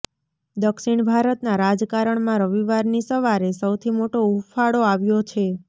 દક્ષિણ ભારતના રાજકારણમાં રવિવારની સવારે સૌથી મોટો ઉફાળો આવ્યો છે